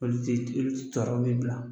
Polisi tilenli jɔrɔ bɛ u la.